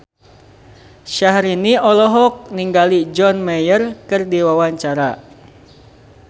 Syahrini olohok ningali John Mayer keur diwawancara